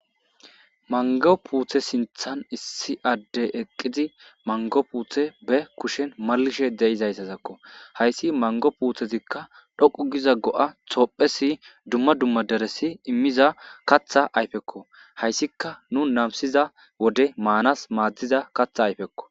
mango puute sinthan issi addey eqqizi mango puuthe be kushen malishe deizayssazakko hayssi mango puuthezikka dhoqu giza go7a toophesi dumma dumma deresi immiza katha ayfekko hayssika nu namsiza wode maanas maaddiza katha ayfekko